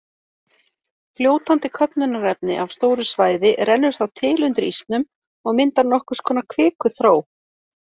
Fljótandi köfnunarefni af stóru svæði rennur þá til undir ísnum og myndar nokkurs konar kvikuþró.